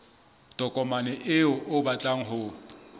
tokomane eo o batlang ho